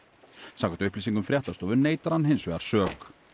samkvæmt upplýsingum fréttastofu neitar hann hins vegar sök